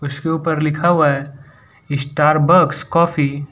उसके ऊपर लिखा हुआ है स्टारबक्स कॉफी --